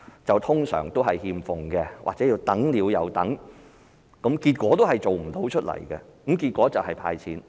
這些一般都是欠奉或等了又等，結果同樣做不到，最後還是"派錢"。